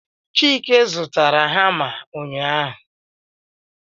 chike zụtara hama a ụnyaahụ